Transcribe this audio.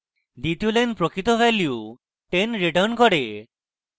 দ্বিতীয় line প্রকৃত value 10 returns করে